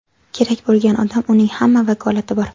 Kerak bo‘lgan odam, uning hamma vakolati bor.